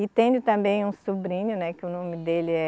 E tenho também um sobrinho, né, que o nome dele é